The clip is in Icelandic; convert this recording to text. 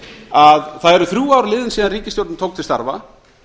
að það eru þrjú ár leiðin síðan ríkisstjórnin tók til starfa